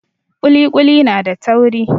Ƙuli ƙuli na da tauri.